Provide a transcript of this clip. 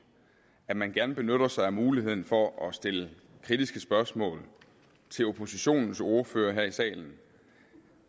at man gerne benytter sig af muligheden for at stille kritiske spørgsmål til oppositionens ordførere her i salen